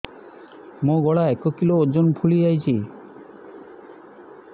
ମୋ ଗଳା ଏକ କିଲୋ ଓଜନ ଫୁଲି ଯାଉଛି